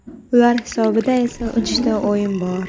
Ular hisobida esa uchta o‘yin bor.